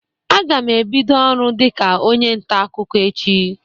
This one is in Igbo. Aga m ebido ọrụ dịka onye nta akụkọ echi.